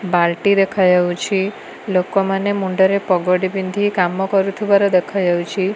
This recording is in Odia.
ବାଲଟି ଦେଖାଯାଉଛି ଲୋକ ମାନେ ମୁଣ୍ଡ ରେ ପଗଡ଼ି ପିନ୍ଧି କାମ କରୁଥିବାର ଦେଖାଯାଉଛି।